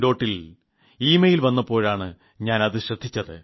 ഡോട്ടിന്നിൽ email വപ്പോഴാണ് ഞാനത് ശ്രദ്ധിച്ചത്